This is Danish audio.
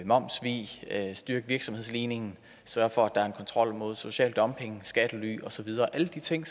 momssvig styrke virksomhedsligningen sørge for at der er en kontrol mod social dumping skattely osv alle de ting